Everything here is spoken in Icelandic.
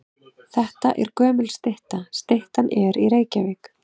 Þetta er gömul stytta. Styttan er í Reykjavík.